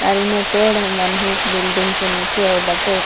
और हूने पेड़ मन हे बिल्डिंग से नीचे ऊबाटे --